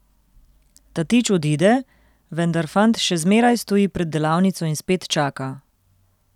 Tatič odide, vendar fant še zmeraj stoji pred delavnico in spet čaka.